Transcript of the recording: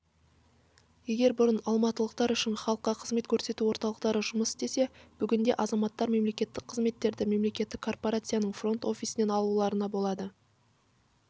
егер бұрын алматылықтар үшін халыққа қызмет көрсету орталықтары жұмыс істесе бүгінде азаматтар мемлекеттік қызметтерді мемлекеттік корпорацияның фронт-офисінен алуларына болады